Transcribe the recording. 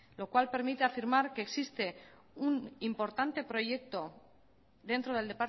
lo cual permite afirmar que existe un importante proyecto dentro del